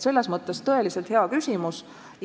Selles mõttes on see tõeliselt hea küsimus.